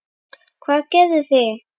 Páll: Hvað gerið þið?